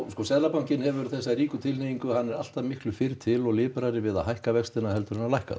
sko seðlabankinn hefur þessa ríku tilhneyingu að hann er alltaf fyrri til og liprari við að hækka vextina en að lækka þá